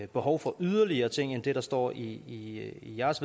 behov for yderligere ting end det der står i jeres